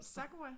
Sakura?